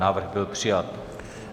Návrh byl přijat.